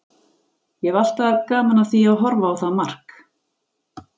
Ég hef alltaf gaman af því að horfa á það mark.